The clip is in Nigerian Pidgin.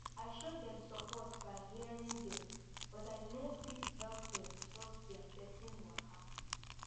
i show dem support by hearing dem but i no fit help dem sort their person waka